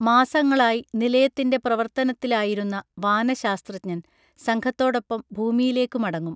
മാസങ്ങളായി നിലയത്തിൻ്റെ പ്രവർത്തനത്തിലായിരുന്ന വാനശാസ്ത്രജ്ഞൻ സംഘത്തോടൊപ്പം ഭൂമിയിലേക്കു മടങ്ങും